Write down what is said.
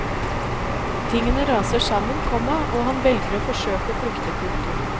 Tingene raser sammen, komma og han velger og forsøke å flykte. punktum